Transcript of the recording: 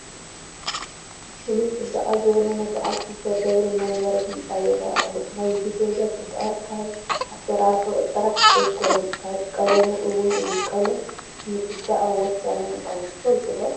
ፍሉይ ፅባቐ ዝወነነ በዓል ክልተ ደብሪ መንበሪ ህንፃ ይርአ ኣሎ፡፡ ናይዚ ገዛ ፅባቐ ካብ ኣሰራርሕኡ ጥራይ ኣይኮነን ካብ ቀለሙ እውን እዩ፡፡ ቀለም ንፅባቐ ወሳኒ ምዃኑ ትፈልጡ ዶ?